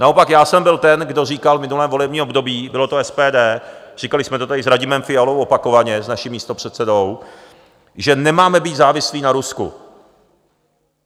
Naopak já jsem byl ten, kdo říkal v minulém volebním období - bylo to SPD, říkali jsme to tady s Radimem Fialou opakovaně, s naším místopředsedou - že nemáme být závislí na Rusku.